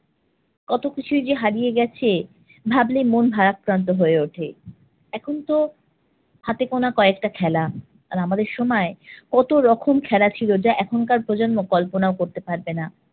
কতকিছুই যে হারিয়ে গেছে ভাবলেই মন ভারাক্রান্ত হয়ে উঠে। এখনতো হাতে গোনা কয়েকটা খেলা। আর আমাদের সময় কতরকম খেলা ছিল, যা এখনকার প্রজন্ম কল্পনাও করতে পারবে না।